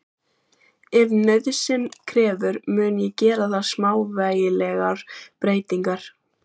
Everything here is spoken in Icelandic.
Ef nauðsyn krefur mun ég gera þar smávægilegar breytingar.